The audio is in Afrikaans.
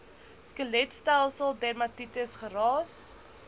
skeletstelsel dermatitis geraas